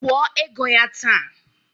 Kwuo ego ya taa!